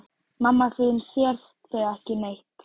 Mamma þín sér þig ekki neitt.